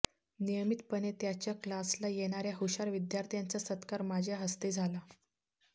नियमितपणे त्याच्या क्लासला येणाऱ्या हुशार विद्यार्थ्यांचा सत्कार माझ्या हस्ते झाला